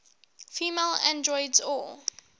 female androids or